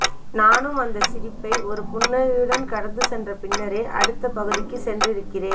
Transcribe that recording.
நானும் அந்த சிரிப்பை ஒரு புன்னகையுடன் கடந்து சென்றபின்னரே அடுத்த பகுதிக்கு சென்றிருக்கிறேன்